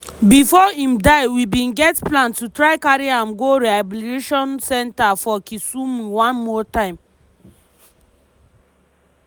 "bifor im die we bin get plan to try carry am go rehabilitation centre for kisumu one more time."